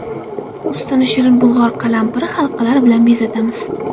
Ustini shirin bulg‘or qalampiri halqalari bilan bezatamiz.